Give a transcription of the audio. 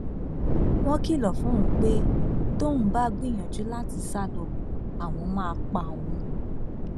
wọn kìlọ fóun pé tóun bá gbìyànjú láti sá lọ àwọn máa pa òun